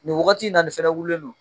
Nin wagati na nin fana wulilen don